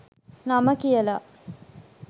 නම කියලා.